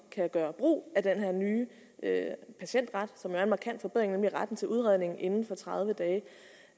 gøre brug af den her nye patientret som er en markant forbedring nemlig retten til udredning inden for tredive dage